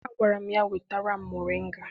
Agwara m ya wetara m moringa!